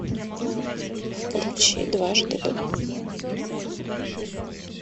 включи дважды два